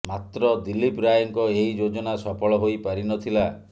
ମାତ୍ର ଦିଲ୍ଲୀପ ରାୟଙ୍କ ଏହି ଯୋଜନା ସଫଳ ହୋଇ ପାରି ନଥିଲା